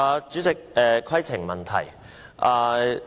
主席，規程問題。